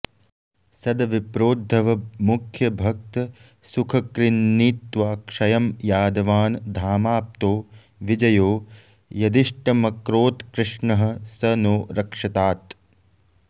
सद्विप्रोद्धवमुख्यभक्तसुखकृन्नीत्वा क्षयं यादवान् धामाप्तो विजयो यदिष्टमकरोत्कृष्णः स नो रक्षतात्